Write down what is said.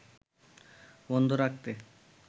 বন্ধ রাখতে